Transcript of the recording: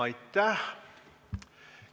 Aitäh!